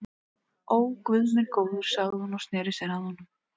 Ó, guð minn góður sagði hún og sneri sér að honum.